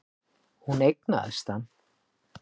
Hún eignaðist hann.